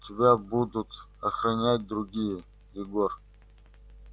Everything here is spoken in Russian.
тебя будут охранять другие егор